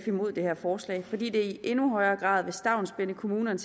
imod det her forslag i sf fordi det i endnu højere grad vil stavnsbinde kommunerne